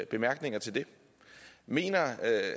bemærkninger er til det mener